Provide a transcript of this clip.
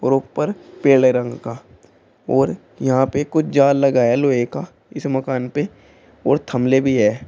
और ऊपर पीले रंग का और यहां पे कुछ जाल लगा है लोहे का इस मकान पे और थमले भी है।